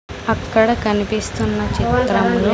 అక్కడ కన్పిస్తున్న చిత్రంలో--